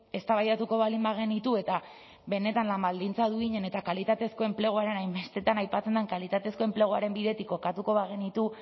eztabaidatuko baldin bagenitu eta benetan lan baldintza duinen eta kalitatezko enpleguaren hainbestetan aipatzen den kalitatezko enpleguaren bidetik kokatuko bagenitu